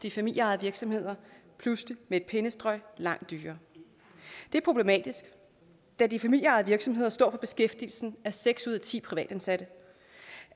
i familieejede virksomheder pludselig med et pennestrøg langt dyrere det er problematisk da de familieejede virksomheder står for beskæftigelsen af seks ud af ti privatansatte